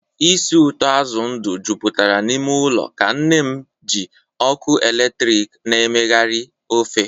ísì ụtọ azụ ndụ jupụtara n'ime ụlọ ka nne m ji ọkụ eletrik na-emegharị ofe.